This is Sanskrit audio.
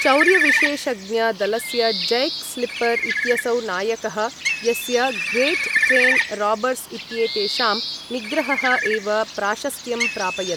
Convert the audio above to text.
चौर्यविशेषज्ञ दलस्य जैक् स्लिपर् इत्यसौ नायकः, यस्य ग्रेट् ट्रेन् राबर्स् इत्येतेषां निग्रहः एव प्राशस्त्यं प्रापयत्।